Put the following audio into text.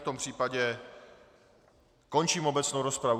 V tom případě končím obecnou rozpravu.